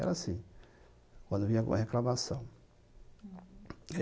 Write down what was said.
Era assim, quando vinha alguma reclamação.